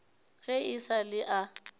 ge e sa le a